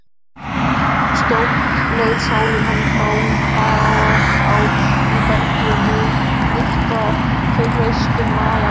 SIGURÐUR:. skjótt leið sálin honum frá, hún kvað í bergi nurtara kreistum nagar á.